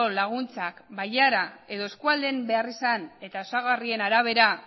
laguntzak bailara edo eskualdeen beharrizan eta osagarrien arabera